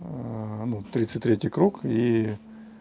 ну тридцать третий круг и